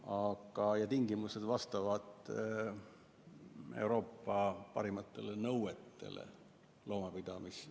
Aga tingimused vastavad Euroopa kõige karmimatele nõuetele loomapidamises.